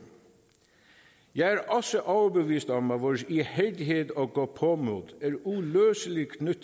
jeg er også overbevist om at vores ihærdighed og gåpåmod